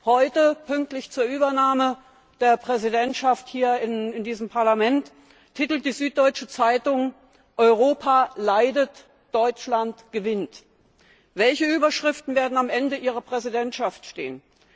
Heute, pünktlich zur Übernahme der Präsidentschaft hier in diesem Parlament, titelt die Süddeutsche Zeitung Europa leidet, Deutschland gewinnt. Welche Überschriften werden am Ende Ihrer Präsidentschaft stehen?